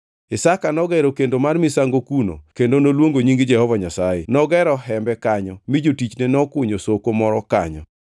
Isaka nogero kendo mar misango kuno kendo noluongo nying Jehova Nyasaye. Nogero hembe kanyo mi jotichne nokunyo soko moro kanyo.